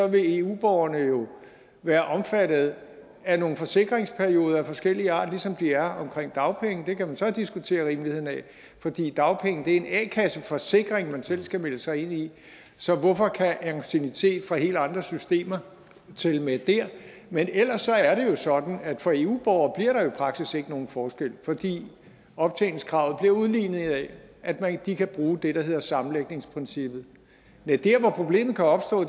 vil eu borgerne jo være omfattet af nogle forsikringsperioder af forskellig art ligesom de er omkring dagpenge det kan man så diskutere rimeligheden af fordi dagpenge er en a kasse forsikring man selv skal melde sig ind i så hvorfor kan anciennitet fra helt andre systemer tælle med der men ellers er det jo sådan at for eu borgere jo faktisk ikke bliver nogen forskel fordi optjeningskravet bliver udlignet af at de kan bruge det der hedder sammenlægningsprincippet næ der hvor problemet kan opstå